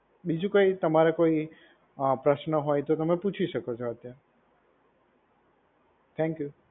બીજું કોઈ તમારે કોઈ અ પ્રશ્ન હોય તો તમે પૂછી શકો છો અત્યારે. થેંક્યુ.